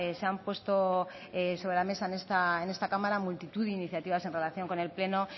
se han puesto sobre la mesa en esta cámara multitud de iniciativas en relación con el pleno